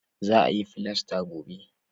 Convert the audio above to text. Za a yi filasta gobe